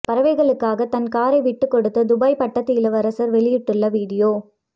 பறவைகளுக்காக தன் காரை விட்டுக் கொடுத்த துபாய் பட்டத்து இளவரசர் வெளியிட்டுள்ள வீடியோ